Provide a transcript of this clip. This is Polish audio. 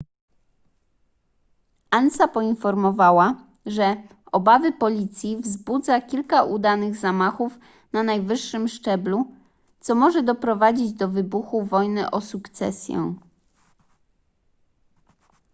ansa poinformowała że obawy policji wzbudza kilka udanych zamachów na najwyższym szczeblu co może doprowadzić do wybuchu wojny o sukcesję